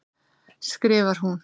skrifar hún.